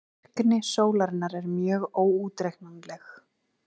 Virkni sólarinnar er mjög óútreiknanleg.